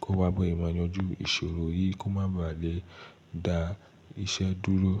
kí ó wá bọ̀ yìí máa yanjú ìṣòro yìí kí ó má bà lé dá iṣẹ́ dúró.